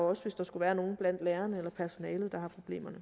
også hvis der skulle være nogen blandt lærerne eller personalet der har problemer